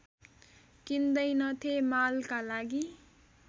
किन्दैनथे मालका लागि